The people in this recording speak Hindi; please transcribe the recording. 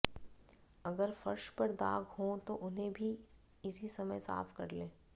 अगर फर्श पर दाग हों तो उन्हें भी इसी समय साफ कर लें